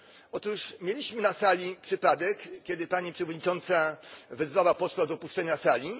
Otóż mieliśmy na sali przypadek, kiedy pani przewodnicząca wezwała posła do opuszczenia sali.